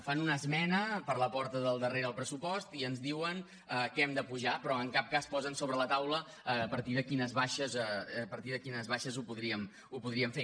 fan una esmena per la porta del darrere al pressupost i ens diuen que hem d’apujar lo però en cap cas posen sobre la taula a partir de quines baixes ho podríem fer